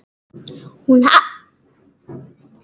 Hún hafði varann á sér.